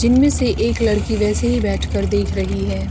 जिनमें से एक लड़की वैसे ही बैठकर देख रही है।